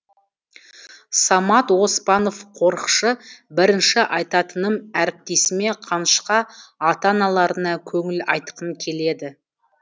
самат оспанов қорықшы бірінші айтатыным әріптесіме қанышқа ата аналарына көңіл айтқым келеді